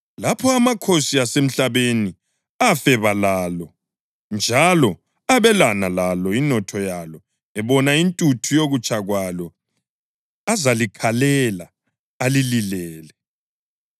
Lapho amakhosi asemhlabeni afeba lalo njalo abelana lalo inotho yalo ebona intuthu yokutsha kwalo azalikhalela alililele.